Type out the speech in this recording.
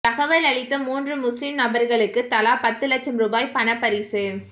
தகவல் அளித்த மூன்று முஸ்லிம் நபர்களுக்கு தலா பத்து இலட்சம் ரூபாய் பணப்பரிசு